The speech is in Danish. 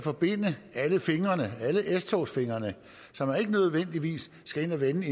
forbinde alle fingrene alle s togsfingrene så man ikke nødvendigvis skal ind at vende